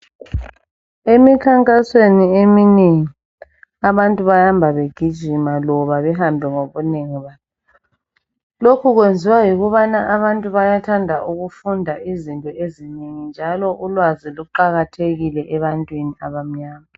Emikhankasweni eminengi abantu bahamba begijima loba behambe ngobunengi babo. Lokhu kwenziwa yikubana abantu bayathanda ukufunda izinto ezinengi njalo ulwazi luqakathekile ebantwini abamnyama.